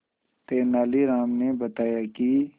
तेनालीराम ने बताया कि